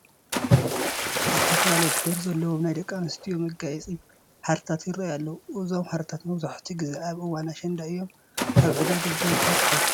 ዝተፈላለዩ ህብሪ ዘለዎም ናይ ደቂ ኣንስዮ መጋየፂ ሃርታት ይርአዩ ኣለዉ፡፡ እዞም ሃርታት መብዛሕትኡ ግዜ ኣብ እዋን ኣሸንዳ እዮም ኣብ ዕዳጋ ብብዝሒ ዝርከቡ፡፡